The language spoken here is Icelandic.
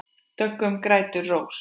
Döggum grætur rós.